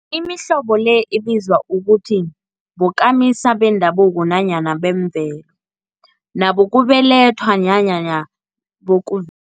Imihlobo le ibizwa ukuthi bokamisa bendabuko nanyana bemvelo, nabokubelethwa nanyana bokuv